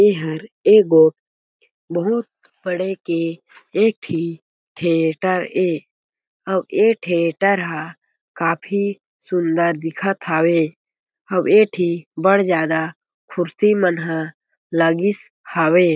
एहर ए गो बहुत बड़े के एक ठी थिएटर ए अउ ए थिएटर हा काफी सुन्दर दिखत हावे अउ ए ठी बढ़ ज्यादा कुर्सी मन ह लागिस हावे।